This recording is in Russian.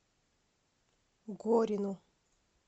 горину